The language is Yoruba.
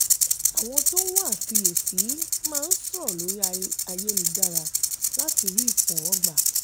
àwọn tó ń wá àfiyèsí máa ń sọ̀rọ̀ lórí ayélujára láti rí ìtẹ́wọ́gbà.